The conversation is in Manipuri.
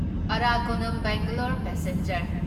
ꯑꯔꯔꯥꯀꯣꯅꯝ ꯕꯦꯡꯒꯂꯣꯔ ꯄꯦꯁꯦꯟꯖꯔ